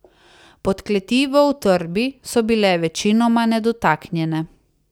Podkleti v utrdbi so bile večinoma nedotaknjene.